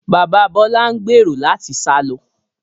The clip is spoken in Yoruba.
Bàbá Bọlá ń gbèrò láti sá lọ